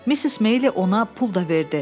Missis Meyli ona pul da verdi.